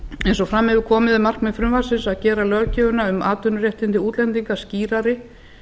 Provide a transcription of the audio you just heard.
eins og fram hefur komið er markmið frumvarpsins að gera löggjöfina um atvinnuréttindi útlendinga skýrari